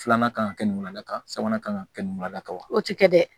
Filanan kan ka kɛ nin ɲulada kan sabanan ka kan ka kɛ ninla kama wa o tɛ kɛ dɛ